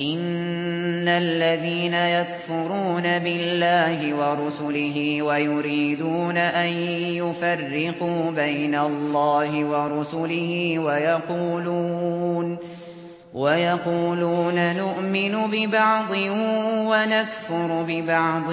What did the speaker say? إِنَّ الَّذِينَ يَكْفُرُونَ بِاللَّهِ وَرُسُلِهِ وَيُرِيدُونَ أَن يُفَرِّقُوا بَيْنَ اللَّهِ وَرُسُلِهِ وَيَقُولُونَ نُؤْمِنُ بِبَعْضٍ وَنَكْفُرُ بِبَعْضٍ